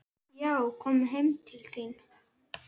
Já, komum heim til þín.